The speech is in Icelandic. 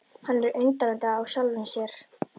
Hann er undrandi á sjálfum sér.